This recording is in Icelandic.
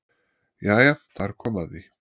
Jæja þar kom að því!